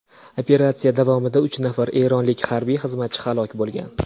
Operatsiya davomida uch nafar eronlik harbiy xizmatchi halok bo‘lgan.